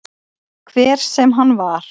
Hver sem hann var.